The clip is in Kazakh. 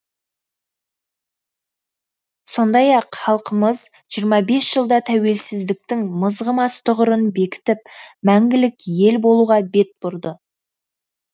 сондай ақ халқымыз жиырма бес жылда тәуелсіздіктің мызғымас тұғырын бекітіп мәңгілік ел болуға бет бұрды